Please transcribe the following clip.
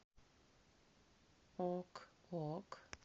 ок ок